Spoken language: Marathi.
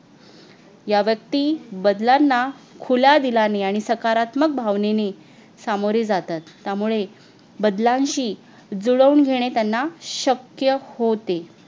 या व्यक्ती बदलांना खुला दिला ने आणि सकारात्मक भावनेने सामोरे जातात त्यामुळे बदलांशी जुळवून घेणे त्यांना शक्य होते